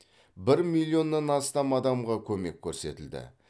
бір миллионнан астам адамға көмек көрсетілді